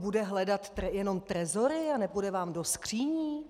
Bude hledat jenom trezory a nepůjde vám do skříní?